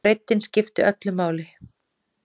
Breiddin skiptir öllu máli.